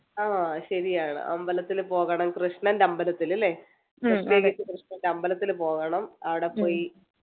ആഹ് ശരിയാണ് അമ്പലത്തിൽ പോകണം കൃഷ്ണൻ്റെ അമ്പലത്തില് അല്ലെ കൃഷ്ണൻ്റെ അമ്പലത്തില് പോകണം ആട പോയി